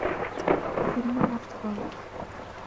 фильмы артхаус